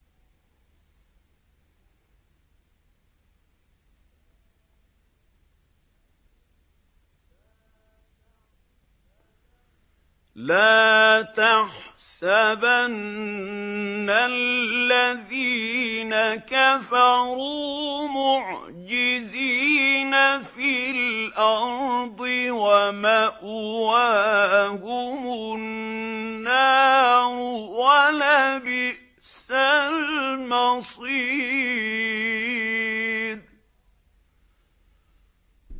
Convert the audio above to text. لَا تَحْسَبَنَّ الَّذِينَ كَفَرُوا مُعْجِزِينَ فِي الْأَرْضِ ۚ وَمَأْوَاهُمُ النَّارُ ۖ وَلَبِئْسَ الْمَصِيرُ